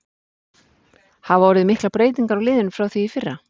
Hafa orðið miklar breytingar á liðinu frá því í fyrra?